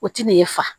O ti n'e fa